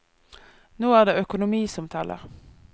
Nå er det økonomi som teller.